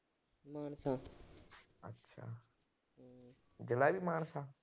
ਜ਼ਿਲ੍ਹਾ ਵੀ ਮਾਨਸਾ।